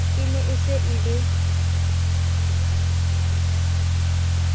ne e se e le